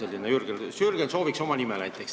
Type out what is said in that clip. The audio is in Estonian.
Eeldus on selline, et Jürgen sooviks sinna oma nime näiteks.